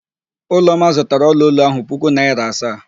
Ụlọma zụtara ọlaolu ahụ puku naịra asaa.